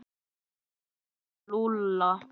Heim til Lúlla!